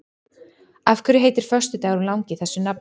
Af hverju heitir föstudagurinn langi þessu nafni?